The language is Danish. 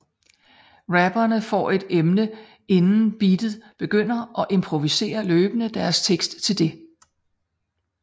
Rapperne får et emne inden beatet begynder og improviserer løbende deres tekst til det